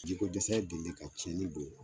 Jikodɛsɛya delili ka tiɲɛni don